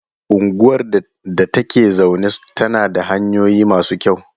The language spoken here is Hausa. Unguwar da ta ke zaune tana da hanyoyi masu kyau.